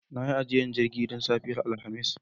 Na yi ajiyar jirgi don safiyar Alhamis